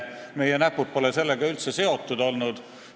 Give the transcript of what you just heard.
Meie näpud pole sellega üldse seotud olnud.